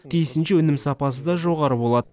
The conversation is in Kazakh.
тиісінше өнім сапасы да жоғары болады